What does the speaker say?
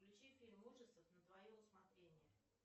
включи фильм ужасов на твое усмотрение